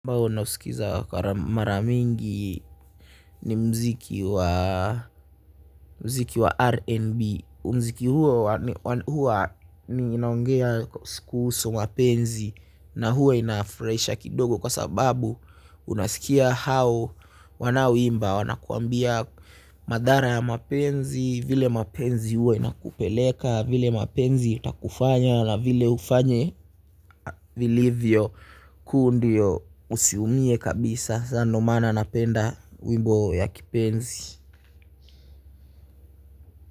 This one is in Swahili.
Ambao nausikiza mara mingi ni mziki wa R&B. Muziki huo huwa inaongea kuhusu mapenzi na huwa inafurahisha kidogo kwa sababu unasikia hao wanaoimba wanakwambia madhara ya mapenzi, vile mapenzi huwa inakupeleka vile mapenzi itakufanya na vile ufanye vilivyo kuu ndiyo usiumie kabisa sa ndo maana napenda wimbo ya kipenzi.